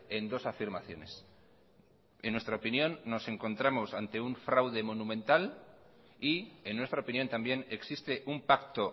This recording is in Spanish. en dos afirmaciones en nuestra opinión nos encontramos ante un fraude monumental y en nuestra opinión también existe un pacto